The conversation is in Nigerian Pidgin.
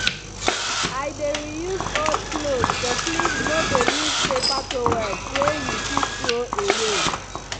i dey reuse old cloths to clean no dey use paper towels wey you fit throw away.